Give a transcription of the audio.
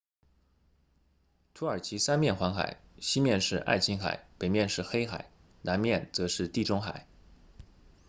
土耳其三面环海西面是爱琴海北面是黑海南面则是地中海